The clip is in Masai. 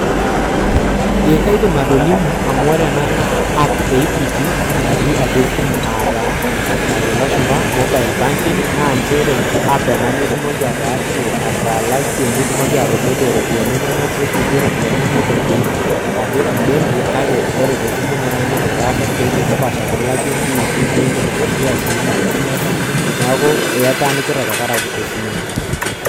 Eh kaidim atolimu amu ore ena naa app e equity natii atua esimu aataa entoki najo lashumba mobile banking naa nchere app ena nitumoki ataasie, atalakie nitumoki atodolie ropiani inonok nirripie ropiani inonok etii ake embenki kake ore tesimu ino naaindim aitaasa siaitin napaasha amu ilakie imbiili naindim atoduaa sii naaba niata, neaku eitaanikita tengarake esimu ino.